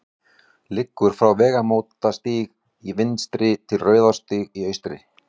liggur frá vegamótastíg í vestri til rauðarárstígs í austri